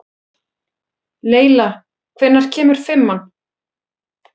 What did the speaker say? Leyla, hvenær kemur fimman?